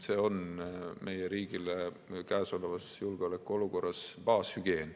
See on meie riigile käesolevas julgeolekuolukorras baashügieen.